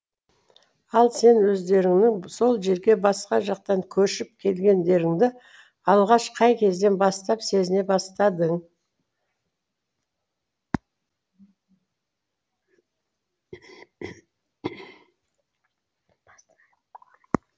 ал сен өздеріңнің сол жерге басқа жақтан көшіп келгендеріңді алғаш қай кезден бастап сезіне бастадың